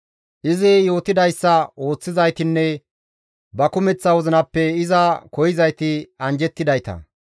Izi yootidayssa ooththizaytinne ba kumeththa wozinappe iza koyzayti anjjettidayta.